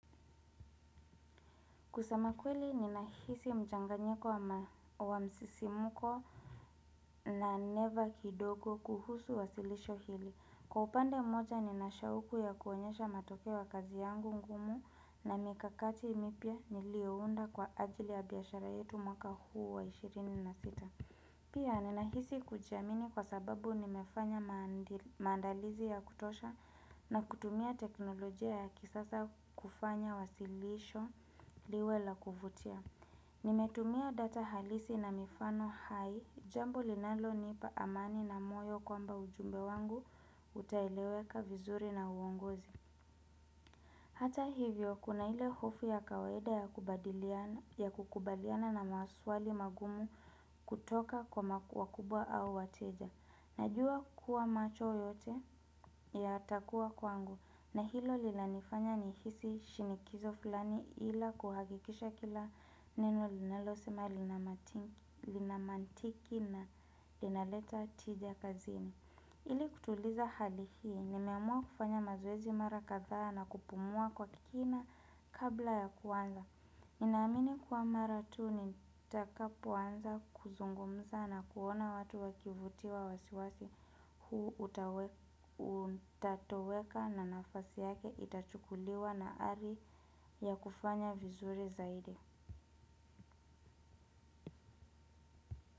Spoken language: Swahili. Kusema kweli ninahisi mchanganyiko wa msisimuko na neva kidogo kuhusu wasilisho hili. Kwa upande moja ninashauku ya kuonyesha matokeo ya kazi yangu ngumu na mikakati mipya niliounda kwa ajili ya biashara yetu mwaka huu wa ishirini na sita. Pia ninahisi kujiamini kwa sababu nimefanya maandalizi ya kutosha na kutumia teknolojia ya kisasa kufanya wasilisho liwe la kuvutia. Nimetumia data halisi na mifano hai, jambo linalonipa amani na moyo kwamba ujumbe wangu utaeleweka vizuri na uongozi. Hata hivyo kuna hile hofu ya kawaida ya kukubaliana na maswali magumu kutoka kwa wakubwa au wateja. Najua kuwa macho yote yatakuwa kwangu na hilo linanifanya nihisi shinikizo fulani ila kuhakikisha kila neno linalosema linamantiki na linaleta tija kazini. Ili kutuliza hali hii, nimeamua kufanya mazoezi mara kadhaa na kupumua kwa kina kabla ya kuanza. Ninaamini kuwa mara tuu nitakapoanza kuzungumza na kuona watu wakivutiwa wasiwasi huu utatoweka na nafasi yake itachukuliwa na ari ya kufanya vizuri zaidi.